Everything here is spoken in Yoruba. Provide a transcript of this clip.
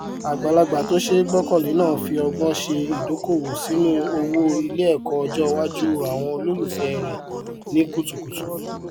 agbàlagbà tó ṣe gbọkànlé náà fi ọgbọn ṣe idókòwò sínú owó iléẹkọ ọjọ iwájú àwọn olólùfẹ rẹ ní kutukùtù